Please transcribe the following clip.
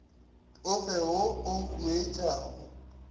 o fe wo o huetšago